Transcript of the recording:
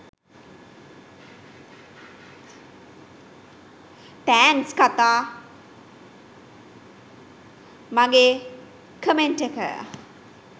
thanks කකා මගේ comment එක